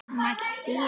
mælti ég.